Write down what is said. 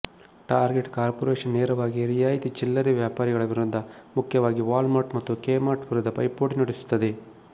target corporation ನೇರವಾಗಿ ರಿಯಾಯಿತಿ ಚಿಲ್ಲರೆ ವ್ಯಾಪಾರಿಗಳ ವಿರುದ್ಧ ಮುಖ್ಯವಾಗಿ ವಾಲ್ಮಾರ್ಟ್ ಮತ್ತು ಕೆಮಾರ್ಟ್ ವಿರುದ್ಧ ಪೈಪೋಟಿ ನಡೆಸುತ್ತದೆ